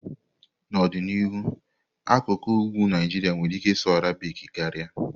N'ọdịnihu, akụkụ ugwu Naijiria nwere ike ịsụ Arabic karịa.